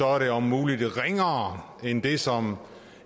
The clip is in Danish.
er det om muligt ringere end det som